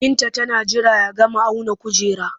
Binta tana jira ya gama auna kujerar